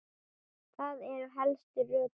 Það eru helstu rökin.